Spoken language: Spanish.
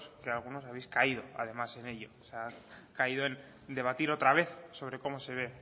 que algunos habéis caído además en ello o sea se ha caído en debatir otra vez sobre cómo se ve el